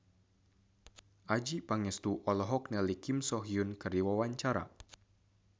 Adjie Pangestu olohok ningali Kim So Hyun keur diwawancara